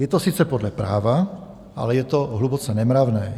Je to sice podle práva, ale je to hluboce nemravné.